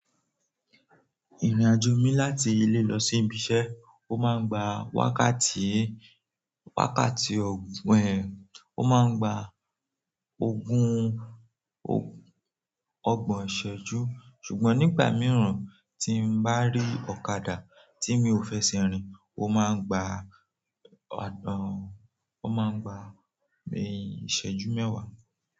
Ìrìnàjò mi láti ilé lọ sí ibi iṣẹ́, ó máa ń gba wákàtí, wákàtí ogún ẹ, ó máa ń gba ogún, ọgbọ̀n ìṣẹ́jú. Ṣùgbọ́n nígbà mìíràn tí n bá rí ọ̀kadà tí mi ò fẹ sẹ rìn, ó máa ń gba ọ̀dọ́, ó máa ń gba ìṣẹ́jú mẹ́wàá.